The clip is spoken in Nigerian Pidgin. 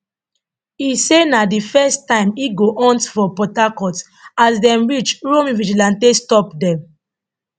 e say na di first time e go hunt for port harcourt and as dem reach uromi vigilante stop dem